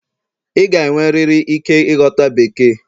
Ị ga-enwerịrị ike ịghọta Bekee